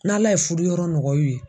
N'Ala ye fuduyɔrɔ nɔgɔy'u ye